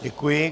Děkuji.